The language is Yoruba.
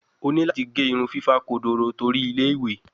O ni lati ge irun fifa kodoro tori Ile-iwe